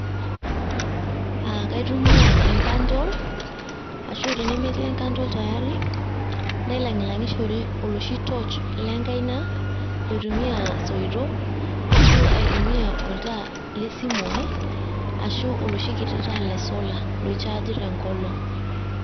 Ah kaitumia e candle ,ashu tenemetii e candle tayari, nailang'ilang'ishore oloshi torch lenkaina, loitumia soitok ashu aitumia oltaa le simu ai, ashu oloshikiti taa le solar loichaaji tenkolong'.